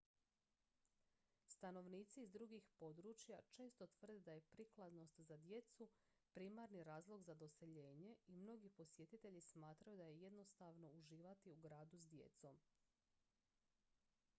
stanovnici iz drugih područja često tvrde da je prikladnost za djecu primarni razlog za doseljenje i mnogi posjetitelji smatraju da je jednostavno uživati u gradu s djecom